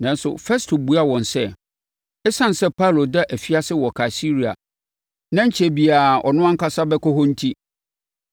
Nanso, Festo buaa wɔn sɛ, ɛsiane sɛ Paulo da afiase wɔ Kaesarea na ɛrenkyɛre biara ɔno ankasa bɛkɔ hɔ enti,